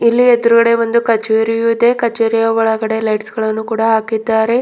ಇಲ್ಲಿ ಎದ್ರುಗಡೆ ಒಂದು ಕಚೇರಿಯು ಕಚೇರಿಯ ಒಳಗಡೆ ಲೈಟ್ಸ್ ಗಳನ್ನು ಕೂಡ ಹಾಕಿದ್ದಾರೆ.